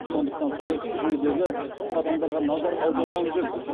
сондықтан саяси жүйедегі тың қадамдарға назар аударған жөн